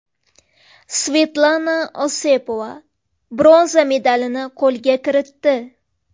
Svetlana Osipova bronza medalini qo‘lga kiritdi.